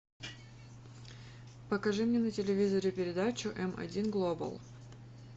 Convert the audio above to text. покажи мне на телевизоре передачу м один глобал